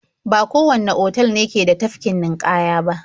Ba kowanne otal ne ke da tafkin ninƙaya ba.